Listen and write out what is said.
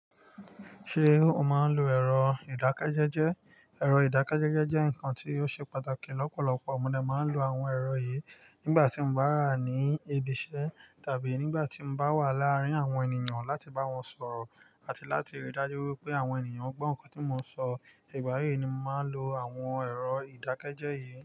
Ṣé o máa ń lo ẹ̀rọ ìdákẹ́jẹ́jẹ́? Ẹ̀rọ ìdákẹ́jẹ́jẹ́ jẹ́ nǹkan tí ó ṣe pàtàkì lọ́pọ̀lọpọ̀. Mo de máa ń lo àwọn ẹ̀rọ yìí nígbà tí mo bá wa ní ibi iṣẹ́ tàbí nígbà tí mo bá wà láàárín àwọn ènìyàn láti bá wọn sọ̀rọ̀ àti láti ríi dájú wípé àwọn ènìyàn gbọ́ nǹkan tí mo ń sọ. Ìgbà yìí ni mo maá lo àwọn ẹ̀rọ ìdákẹ́jẹ́jẹ́ yìí.